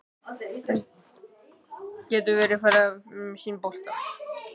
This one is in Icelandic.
Hann getur verið í friði með sinn bolta.